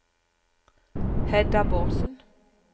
Hedda Bårdsen